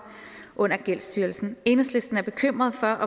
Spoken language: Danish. under gældsstyrelsen enhedslisten er bekymret for